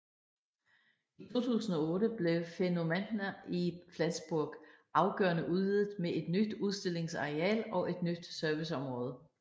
I 2008 blev Phänomenta i Flensborg afgørende udvidet med et nyt udstillungsareal og et nyt serviceområde